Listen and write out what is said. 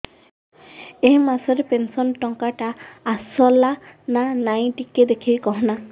ଏ ମାସ ରେ ପେନସନ ଟଙ୍କା ଟା ଆସଲା ନା ନାଇଁ ଟିକେ ଦେଖିକି କହନା